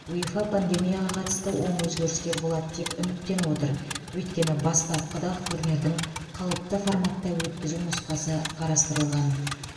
уефа пандемияға қатысты оң өзгерістер болады деп үміттеніп отыр өйткені бастапқыда ақ турнирдің қалыпты форматта өткізу нұсқасы қарастырылған